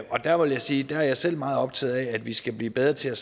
der vil jeg sige at jeg selv er meget optaget af at vi skal blive bedre til at